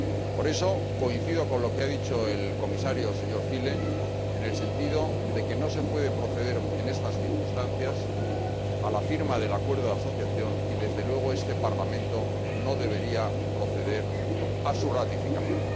Por eso coincido con lo que ha dicho el Comisario, señor Füle, en el sentido de que no se puede proceder en estas circunstancias a la firma del acuerdo de asociación, y desde luego este Parlamento no debería proceder a su ratificación.